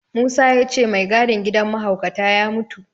Musa ya ce mai gadin gidan mahaukata ya mutu.